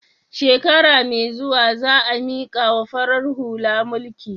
Shekara mai zuwa za a mikawa farar hula mulki.